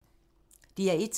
DR1